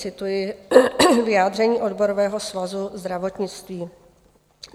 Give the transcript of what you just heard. Cituji vyjádření Odborového svazu zdravotnictví.